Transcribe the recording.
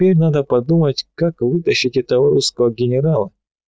тут надо подумать как вытащить этого русского генерала